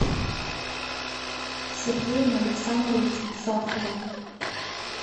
сергеем александровичем сахаровым